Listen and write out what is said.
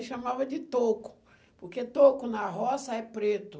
E chamava de toco, porque toco na roça é preto.